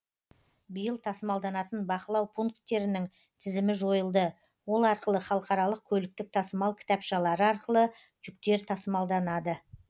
биыл тасымалданатын бақылау пункттерінің тізімі жойылды ол арқылы халықаралық көліктік тасымал кітапшалары арқылы жүктер тасымалданады